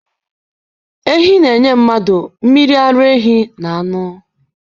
Ehi na-enye mmadụ mmiri ara ehi na anụ.